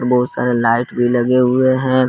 बहुत सारे लाइट भी लगे हुए हैं।